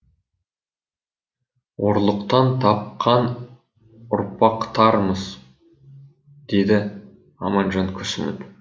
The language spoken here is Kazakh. ұрлықтан тапқан ұрпақтармыз деді аманжан күрсініп